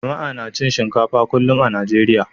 Jama'a na cin shinkafa kullum a Najeriya.